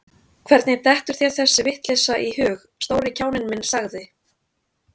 Hvernig dettur þér þessi vitleysa í hug, stóri kjáninn minn sagði